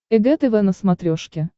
эг тв на смотрешке